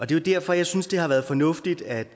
det er derfor jeg synes det har været fornuftigt at